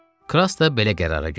Kras da belə qərara gəldi.